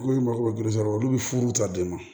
Ko minnu ma ko geresɛriso olu bɛ furu ta den ma